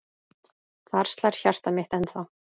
Þar slær hjartað mitt ennþá.